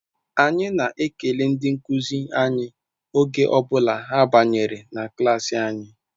Anyị na-ekele ndị nkuzi anyị oge ọ bụla ha banyere na klaasị anyị